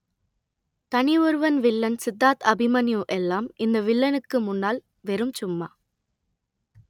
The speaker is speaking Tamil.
தனி ஒருவன் வில்லன் சித்தார்த் அபிமன்யு எல்லாம் இந்த வில்லனுக்கு முன்னால் வெறும் சும்மா